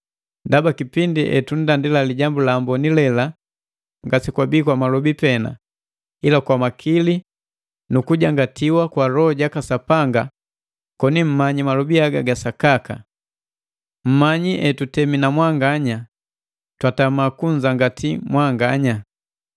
ndaba kipindi patunndandila Lijambu la Amboni lela ngasekwabii kwa malobi pena ila kwa makili na ku kujangatiwa na kwa Loho jaka Sapanga koni mmanyi malobi haga ga sakaka. Mumanyi hetutemi na mwanganya, twatama ku kunzangati mwanganya.